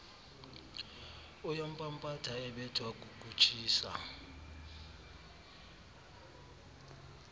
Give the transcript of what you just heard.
uyampampatha ebethwa kukutshisa